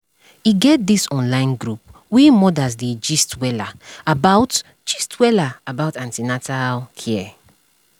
e get this online group wey mothers dey gist wella about gist wella about an ten atal care